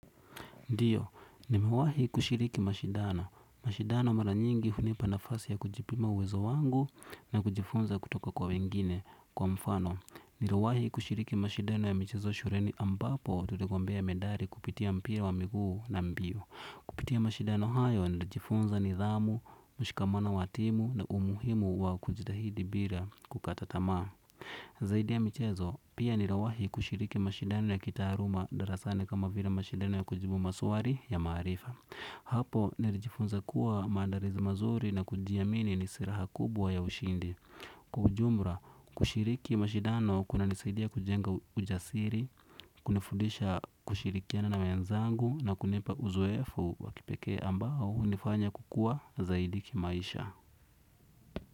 Ndiyo, nimewahi kushiriki mashidano. Mashidano mara nyingi hunipa nafasi ya kujipima uwezo wangu na kujifunza kutoka kwa wengine kwa mfano. Niliwahi kushiriki mashidano ya michezo shuleni ambapo tuligombea medali kupitia mpira wa miguu na mbio. Kupitia mashidano hayo, nilijifunza nidhamu, mshikamano wa timu na umuhimu wa kujitahidi bila kukata tamaa. Zaidi ya michezo, pia nilawahi kushiriki mashidano ya kitaaluma darasani kama vile mashidano ya kujibu maswali ya maarifa. Hapo nilijifunza kuwa maandalizi mazuri na kujiamini ni silaha kubwa ya ushindi. Kwa ujumla, kushiriki mashidano kuna nisaidia kujenga ujasiri, kunifudisha kushirikiana na wenzangu na kunipa uzoefu wa kipekee ambao hunifanya kukuwa zaidi kimaisha.